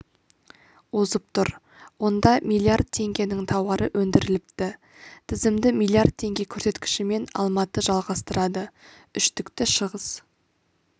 озып тұр онда миллиард теңгенің тауары өндіріліпті тізімді миллиард теңге көрсеткішімен алматы жалғастырады үштікті шығыс